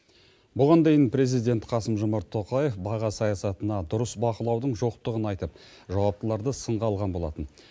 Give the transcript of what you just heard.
бұған дейін президент қасым жомарт тоқаев баға саясатына дұрыс бақылаудың жоқтығын айтып жауаптыларды сынға алған болатын